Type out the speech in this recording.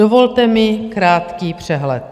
Dovolte mi krátký přehled.